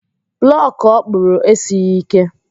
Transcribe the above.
Blọkụ ọkpụrụ esighi ike.